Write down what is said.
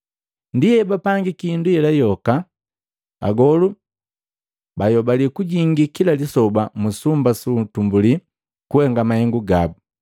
Ndi ebapangiki hindu yela yoka. Agolu bayobali kujingi kila lisoba mu sumba su utumbuli kuhenga mahengu gabu.